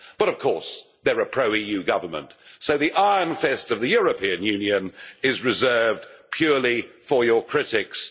But, of course, they are a pro EU Government, so the iron fist of the European Union is reserved purely for your critics.